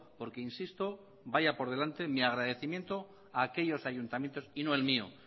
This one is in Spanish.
porque insisto vaya por delante mi agradecimiento a aquellos ayuntamientos y no el mío